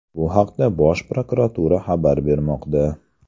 Bu haqda Bosh prokuratura xabar bermoqda .